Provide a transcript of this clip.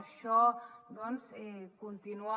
això doncs continua